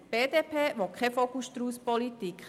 Die BDP will aber keine Vogel-Strauss-Politik.